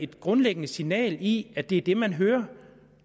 grundlæggende signal i at det er det man hører